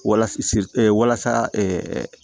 Walasa si ɛ walasa